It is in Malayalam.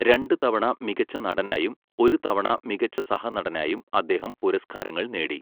രണ്ട് തവണ മികച്ച നടനായും ഒരു തവണ മികച്ച സഹനടനായും അദ്ദേഹം പുരസ്കാരങ്ങൾ നേടി.